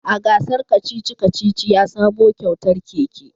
A gasar kacici-kacici ya samo kyautar keke